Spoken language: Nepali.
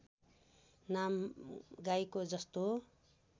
नाम गाईको जस्तो